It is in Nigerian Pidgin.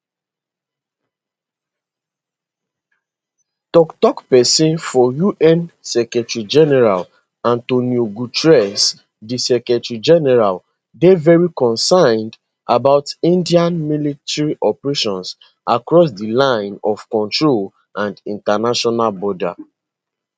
tok tok pesin for un secretarygeneral antonio guterres di secretarygeneral dey very concerned about india military operations across di line of control and international border